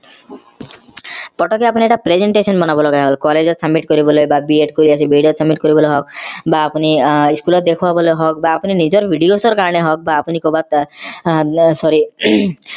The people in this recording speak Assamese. পতকে অপোনি এটা presentation বনাব লগা হল college ত submit কৰিবলে বা BEd কৰি আছে BEd ত submit কৰিবলে হওক বা অপোনি আহ school ত দেখুৱাবলে হওক বা আপোনি নিজৰ videos ৰ কাৰনে হওক বা আপোনি কৰবাত আহ sorry